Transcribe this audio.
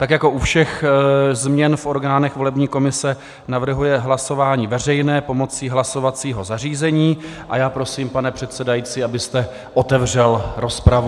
Tak jako u všech změn v orgánech volební komise navrhuje hlasování veřejné pomocí hlasovacího zařízení a já prosím, pane předsedající, abyste otevřel rozpravu.